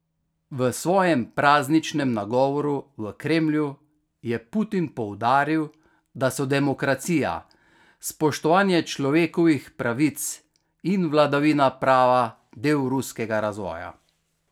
V svojem prazničnem nagovoru v Kremlju je Putin poudaril, da so demokracija, spoštovanje človekovih pravic in vladavina prava del ruskega razvoja.